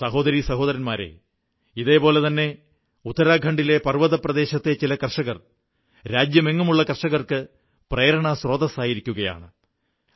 സഹോദരീ സഹോദരന്മാരേ ഇതേപോലെ തന്നെ ഉത്തരാഖണ്ഡിലെ പർവ്വതപ്രദേശത്തെ ചില കർഷകർ രാജ്യമെങ്ങുമുള്ള കർഷകർക്ക് പ്രേരണാസ്രോതസ്സായിരിക്കയാണ്